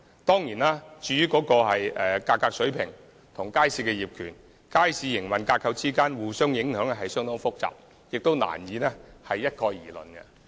當然，價格水平與街市業權、街市營運架構的關係，是相當複雜的問題，難以一概而論。